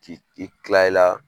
K'i kila i la